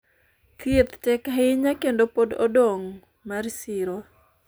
thieth tek ahinya kendo pod odong' mar siro